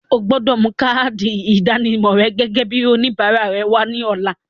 O gbọdọ̀ mú káádì ìdánimọ̀ gẹ́gẹ́ bíi oníbàárà rẹ wá ní ọ̀la.